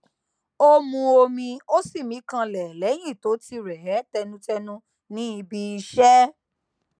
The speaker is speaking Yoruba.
ó mu omi ó sì mí kanlẹ léyìn tó ti rè é tẹnutẹnu níbi iṣé